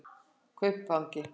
Kaupangi